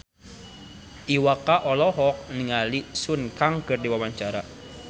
Iwa K olohok ningali Sun Kang keur diwawancara